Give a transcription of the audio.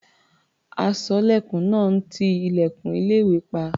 Aṣọ́lẹ̀kùn náà ń ti ilẹ̀kùn ilé-ìwé pa.